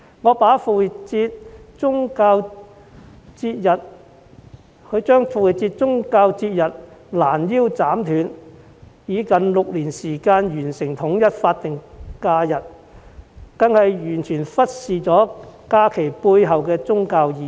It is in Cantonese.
攔腰斬斷宗教節日，以6年時間完成統一復活節為法定假日，這做法更是完全忽視假期背後的宗教意義。